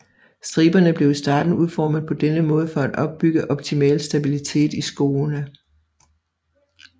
Striberne blev i starten udformet på denne måde for at opbygge optimal stabilitet i skoene